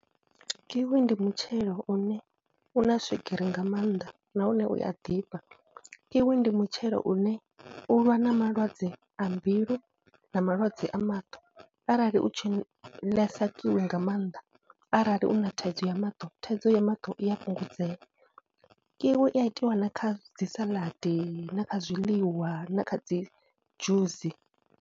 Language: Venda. Kiwi ndi mutshelo une u na swigiri nga maanḓa nahone u a ḓifha, Kiwi ndi mutshelo une u lwa na malwadze a mbilu na malwadze a maṱo arali u tshi ḽesa kiwi nga maanḓa, arali u na thaidzo ya maṱo, thaidzo ya maṱo i a fhungudzea. Kiwi i a itiwa na kha dzi saladi na kha zwiḽiwa na kha dzi dzhusi.